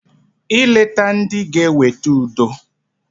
I leta ndị g'eweta udo.